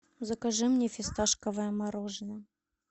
закажи мне фисташковое мороженое